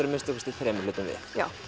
að minnsta kosti þremur hlutum við